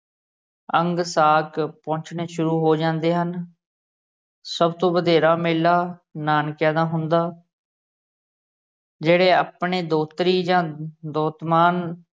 ਅੰਗਸਾਕ ਪਹੁਚਣੇ ਸ਼ੁਰੂ ਹੋ ਜਾਂਦੇ ਹਨ ਸਭ ਤੋਂ ਵਧੇਰਾ ਮੇਲਾ ਨਾਨਕਿਆਂ ਦਾ ਹੁੰਦਾ ਜਿਹੜੇ ਆਪਣੇ ਦੋਹਤਰੀ ਜਾਂ ਦੋਹਤ ਮਾਨ